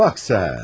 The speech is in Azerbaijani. Bax sən.